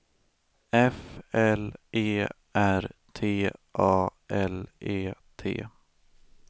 F L E R T A L E T